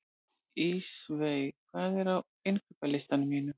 Ísveig, hvað er á innkaupalistanum mínum?